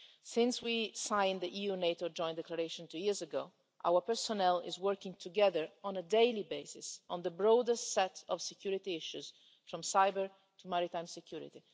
Since we signed the EU-NATO Joint Declaration two years ago, our personnel have been working together on a daily basis on the broadest set of security issues, from cybersecurity to maritime security.